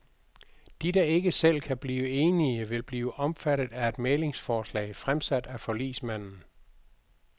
De, der ikke selv kan blive enige, vil blive omfattet af et mæglingsforslag fremsat af forligsmanden.